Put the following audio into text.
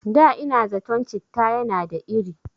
Da ina zaton citta yana da iri